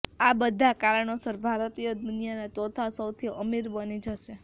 આ બધા કારણોસર ભારતીયો દુનિયાના ચોથા સૌથી અમીર બની જશે